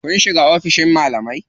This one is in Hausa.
Kun shiga oficin malamai?